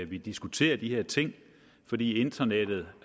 vi diskuterer de her ting fordi internettet